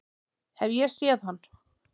Hef ég séð hann?